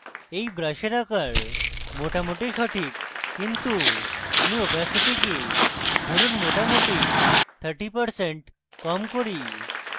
এই brush আকার মোটামুটি সঠিক কিন্তু আমি opacity কে ধরুন মোটামুটি 30% কম করি